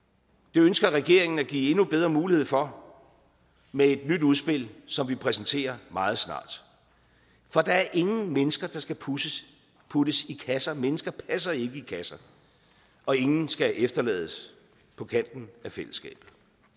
det ønsker regeringen at give endnu bedre mulighed for med et nyt udspil som vi præsenterer meget snart for der er ingen mennesker der skal puttes puttes i kasser mennesker passer ikke i kasser og ingen skal efterlades på kanten af fællesskabet